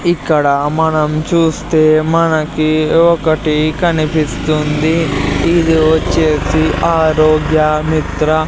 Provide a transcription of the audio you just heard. ఇక్కడ మనం చూస్తే మనకి ఒకటి కనిపిస్తుంది ఇది వచ్చేసి ఆరోగ్య మిత్ర.